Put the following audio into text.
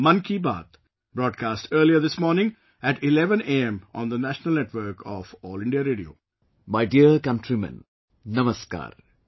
My dear countrymen, Namaskar,